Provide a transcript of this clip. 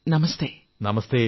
നമസ്തേ നമസ്തേ